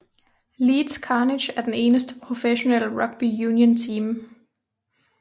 Leeds Carnegie er den eneste professionelle rugby union team